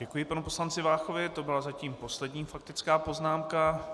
Děkuji panu poslanci Váchovi, to byla zatím poslední faktická poznámka.